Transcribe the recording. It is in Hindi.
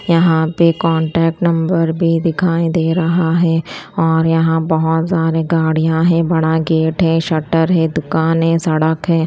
यहां पे कांटेक्ट नंबर भी दिखाई दे रहा है और यहां बहोत सारे गाड़ियां है बड़ा गेट है शटर है दुकान है सड़क है।